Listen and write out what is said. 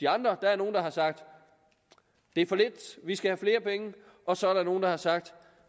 andre regioner har sagt det er for lidt vi skal have flere penge og så er der nogle der har sagt